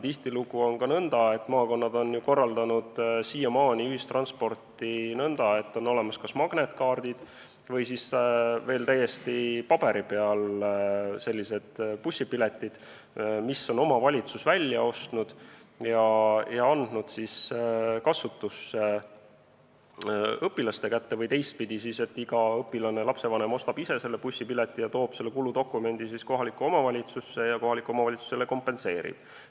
Tihtilugu on aga maakonnad korraldanud ühistransporti nõnda, et on olemas kas magnetkaardid või siis endiselt paberil bussipiletid, mille omavalitsus on välja ostnud ja andnud õpilaste kasutusse, või teistpidi, iga õpilane või lapsevanem ostab ise bussipileti ja toob siis kuludokumendi kohalikku omavalitsusse, kus talle see kompenseeritakse.